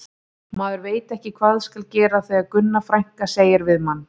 Maður veit ekki hvað skal gera þegar Gunna frænka segir við mann